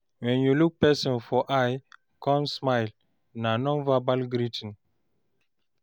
When you look person for eye come smile, na non-verbal greeting